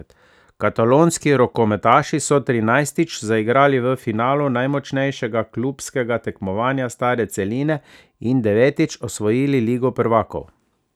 Katalonski rokometaši so trinajstič zaigrali v finalu najmočnejšega klubskega tekmovanja stare celine in devetič osvojili ligo prvakov.